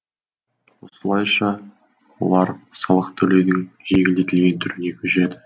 осылайша олар салық төлеудің жеңілдетілген түріне көшеді